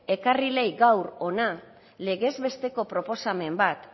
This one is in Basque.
ekarri leike gaur hona legez besteko proposamen bat